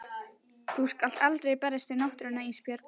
Þú skalt aldrei berjast við náttúruna Ísbjörg.